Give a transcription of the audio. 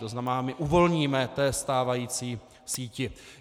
To znamená, my uvolníme té stávající síti.